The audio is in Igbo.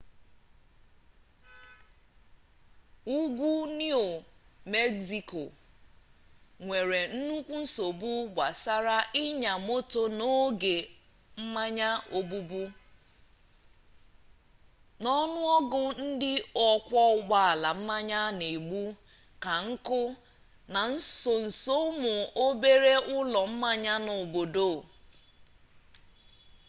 ugwu niu megziko nwere nnukwu nsogbu gbasara ịnya moto n'oge mmanya obubu na ọnụ ọgụgụ ndị ọkwọ ụgbọala mmanya na-egbu ka nkụ na nsonso ụmụ obere ụlọ mmanya nọ n'obodo